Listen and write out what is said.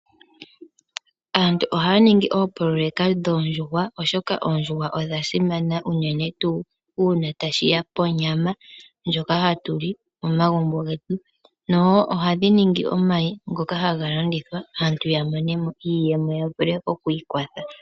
Aantu ohaya ningi oopoloyeka dhoondjuhwa, oshoka oondjuhwa odhasimana unene ngele tashi ya konyama ndjoka hatu li komagumbo getu. Ohadhi vala omayi, gavule galandithwe p aantu yamonemo iiyemo, yiiyambidhidhe.